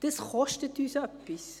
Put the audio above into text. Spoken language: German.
Das kostet uns etwas.